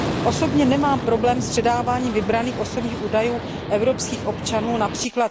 Osobně nemám problém s předáváním vybraných osobních údajů evropských občanů, např.